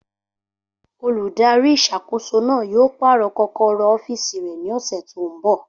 Olùdarí ìṣàkóso náà yóò pàrọ̀ kọ́kọ́rọ́ ọ́fìsì rẹ̀ ní ọ̀sẹ̀ tó n bọ̀